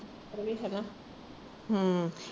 ਓਹੀ ਹੈ ਨਾ ਹਮ